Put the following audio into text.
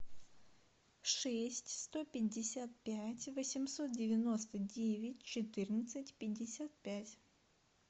шесть сто пятьдесят пять восемьсот девяносто девять четырнадцать пятьдесят пять